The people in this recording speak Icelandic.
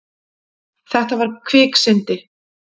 Þetta var kviksyndi.